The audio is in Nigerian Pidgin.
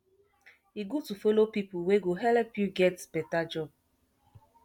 e good to follow pipu wey go helep you get beta job